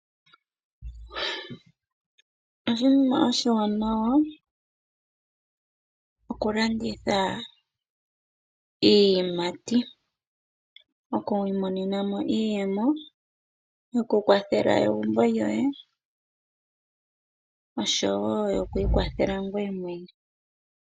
Oshinima oshiwanawa okulanditha iiyimati. Okwiimonena mo iiyemo yoku kwathela egumbo lyoye, osho wo yokwiikwathela ngoye mwene.